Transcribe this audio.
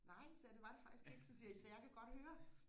nej sagde jeg det var det faktisk ikke så ser I så jeg kan godt høre